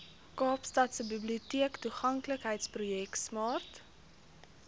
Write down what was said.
kaapstadse biblioteektoeganklikheidsprojek smart